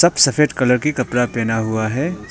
सफेद कलर की कपड़ा पहना हुआ है।